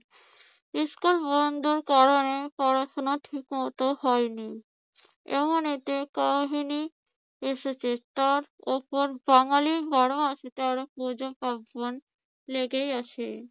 School বন্ধর কারণে পড়াশুনা ঠিকমত হয়নি। এমন একটা কাহিনি এসেছে, তার উপর বাঙ্গালির বারো মাসে তেরো পূজো পার্বণ লেগেই আছে।